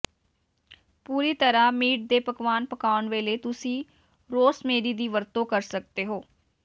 ਪੂਰੀ ਤਰ੍ਹਾਂ ਮੀਟ ਦੇ ਪਕਵਾਨ ਪਕਾਉਣ ਵੇਲੇ ਤੁਸੀਂ ਰੋਸਮੇਰੀ ਦੀ ਵਰਤੋਂ ਕਰ ਸਕਦੇ ਹੋ